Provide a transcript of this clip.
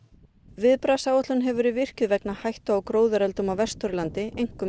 viðbragðsáætlun hefur verið virkjuð vegna hættu á gróðureldum á Vesturlandi einkum